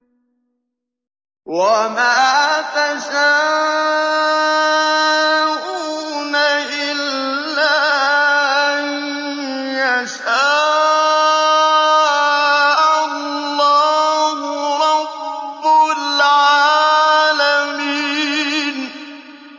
وَمَا تَشَاءُونَ إِلَّا أَن يَشَاءَ اللَّهُ رَبُّ الْعَالَمِينَ